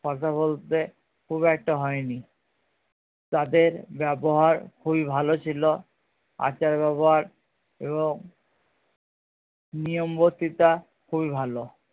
কথা বলতে খুব একটা হয় নি তাদের ব্যবহার খুবই ভালো ছিলো আচার ব্যবহার এবং নিয়মবর্তীতা খুবই ভালো